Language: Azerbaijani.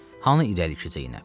Hanı irəliki Zeynəb?